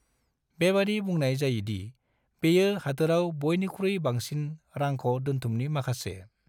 बेबादि बुंनाय जायोदि बेयो हादोराव बयनिख्रुइ बांसिन रांख' दोन्थुमनि माखासे।